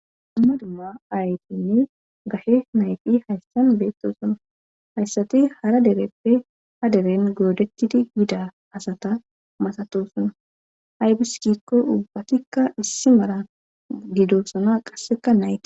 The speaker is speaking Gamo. amma dumma aytinni gashe nayti hayssan beettosuna hayssati hara dereppe ha deren goodekidi gida asata masatosuna haybiskikko ubbatikka issi mara gido suna qasseka nayi